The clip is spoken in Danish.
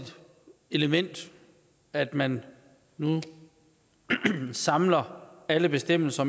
element at man nu samler alle bestemmelser